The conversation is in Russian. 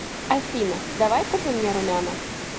афина давай купим мне румяна